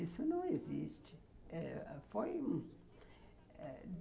Isso não existe. Foi